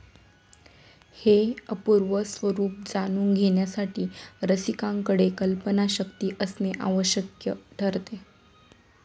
हे अपूर्व स्वरूप जाणून घेण्यासाठी रसिकाकडे कल्पनाशक्ती असणे आवश्यक ठरते.